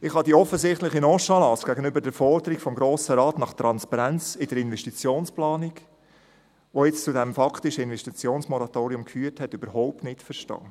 Ich kann die offensichtliche Nonchalance gegenüber der Forderung des Grossen Rates nach Transparenz in der Investitionsplanung, die nun zu diesem faktischen Investitionsmoratorium geführt hat, überhaupt nicht verstehen.